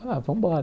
Ah, vamos embora.